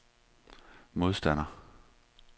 modstander